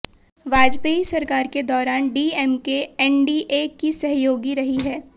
वाजपेयी सरकार के दौरान डीएमके एनडीए की सहयोगी रही है